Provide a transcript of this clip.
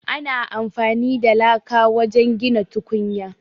Ana amfani da laka wajen gina tukunya.